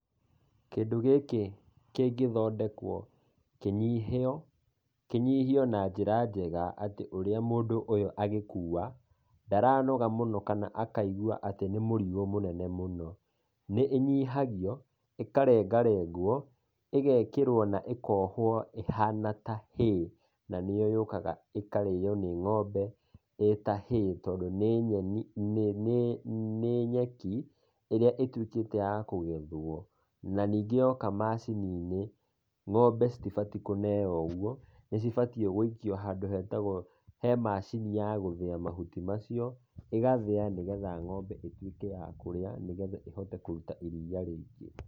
Kĩndũ gĩkĩ kĩngĩthondekwo kĩnyihio, kĩnyihio na njĩra njega atĩ ũrĩa mũndũ ũyũ agĩkuua ndaranoga mũno kana akaigua atĩ nĩ mũrigo mũnene mũno. Nĩ ĩnyihagio, ĩkarengarengwo ĩgekĩrwo na ĩkohwo ĩhana ta hay na nĩyo yũkaga ĩkarĩo nĩ ng'ombe ĩta hay tondũ nĩ nyeni nĩ nyeki ĩrĩa ĩtuĩkĩte ya kũgethwo, na ningĩ yoka macini-inĩ ng'ombe citibatiĩ kũneo ũguo nĩ cibatiĩ gũikio handũ hetagwo he macini ya gũthĩa mahuti macio, ĩgathĩa nĩgetha ng'ombe ĩtuĩke ya kũrĩa nĩgetha ĩhote kũruta iriia rĩingĩ.